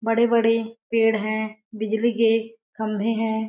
बड़े-बड़े पेड़ हैं। बिजली के खम्भे हैं।